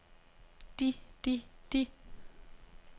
de de de